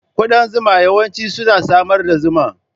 Kudan zuma yawanci suna samar da zuma.